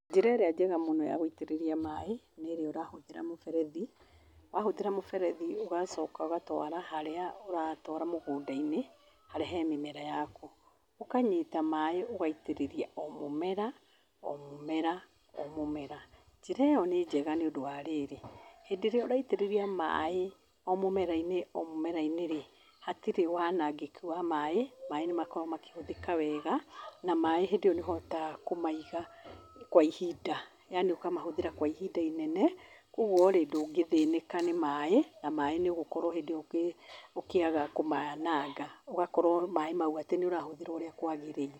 Njĩra ĩrĩa njega mũno ya gũitĩrĩria maaĩ nĩ ĩrĩa ũrahũthĩra mũberethi. wahũthĩra mũberethi ũgacoka ũgatwara harĩa ũratwara mũgũnda-inĩ harĩa hee mĩmera yaku. Ũkanyita maaĩ ũgaitĩrĩria o mũmera o mũmera o mũmera. Njĩra ĩyo nĩ njega nĩũndũ wa rĩrĩ, hĩndĩ ĩrĩa ũraitĩrĩria maaĩ o mũmera-inĩ o mũmera-inĩre, hatĩre wanangĩki wa maaĩ, maaĩ nĩ makoragwo makĩhũthĩka wega na maaĩ hĩndĩ ĩyo nĩ ũhotaga kũmaiga kwa ihinda yani ũkamahũthĩra kwa ihinda inene, ũgũo rĩ ndũngĩthĩnĩka nĩ maaĩ na maaĩ nĩ ũgũkorwo hĩndi ĩyo ũkĩaga kũmaananga. Ũgakorwo maaĩ mau atĩ nĩ ũrahũthĩra ũrĩa kwagĩrĩire.